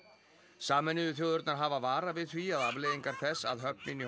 sameinuðu þjóðirnar hafa varað við því að afleiðingar þess að höfnin í